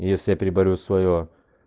если я переборю своё